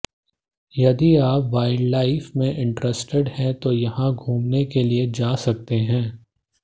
यदि आप वाइल्डलाइफ में इंटरेस्टेड हैं तो यहां घूमने के लिए जा सकते हैं